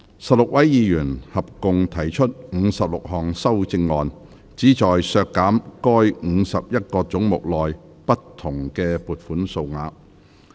16位議員合共提出56項修正案，旨在削減該51個總目內不同的撥款數額。